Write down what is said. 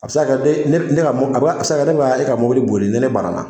A bɛ se ka kɛ ne a sa ka kɛ ne bɛ ka mobili ne banna